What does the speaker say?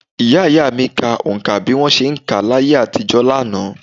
Ìyá - ìyá mi ka oǹkà bí wọn ṣe ń kà á ní ayé àtijọ́ lánàá